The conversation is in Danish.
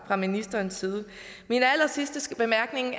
fra ministerens side min allersidste bemærkning